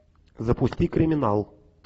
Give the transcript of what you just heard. запусти криминал